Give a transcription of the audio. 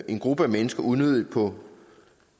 en gruppe mennesker unødigt på